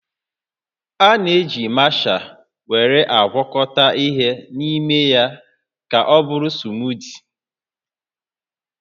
A na-eji masha were agwakọta ihe n'ime ya ka ọbụrụ smootii